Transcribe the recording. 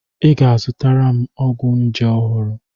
I ga-azụtara m ọgwụ nje ọhụrụ.